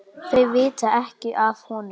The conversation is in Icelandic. Þau vita ekki af honum.